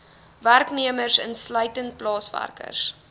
werknemers insluitend plaaswerkers